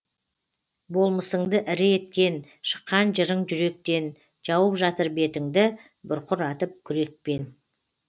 болмысыңды ірі еткен шыққан жырың жүректен жауып жатыр бетіңді бұрқыратып күрекпен